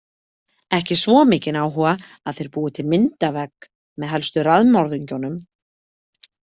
Ekki svo mikinn áhuga að þeir búi til myndavegg með helstu raðmorðingjunum.